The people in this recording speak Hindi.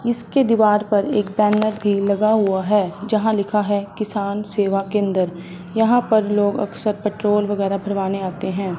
इसके दीवार पर एक बैनर भी लगा हुआ है। जहां लिखा है किसान सेवा केंद्र। यहां पर लोग अक्सर पेट्रोल वगैरा भरवाने आते हैं।